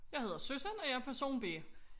Jeg hedder Susan og jeg person B